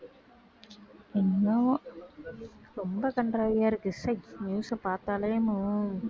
என்னாவோ ரொம்ப கண்றாவியா இருக்கு ச்சை news அ பார்த்தாலே